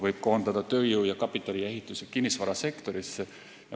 Võib juhtuda, et tööjõud ja kapital koonduvad ehitus- ja kinnisvarasektorisse.